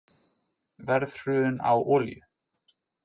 Verðhrun á olíu